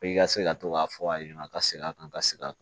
i ka se ka to k'a fɔ a ɲɛna ka segin a kan ka sigi